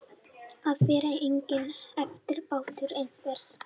Að vera enginn eftirbátur einhvers